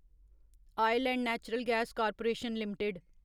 oil and natural gas corporation limited